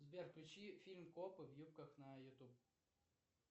сбер включи фильм копы в юбках на ютуб